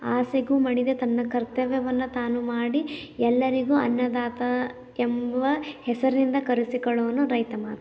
ಆಸೆಗೂ ಮಡಿದ ತನ್ನ ಕರ್ತವ್ಯವನ್ನು ತಾನು ಮಾಡಿ ಎಲ್ಲರಿಗೂ ಅನ್ನದಾತ ಎಂಬ ಹೆಸರಿನಿಂದ ಕರೆಸಿಕೊಳ್ಳುವವನು ರೈತ ಮಾತ್ರ